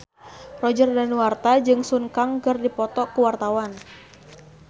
Roger Danuarta jeung Sun Kang keur dipoto ku wartawan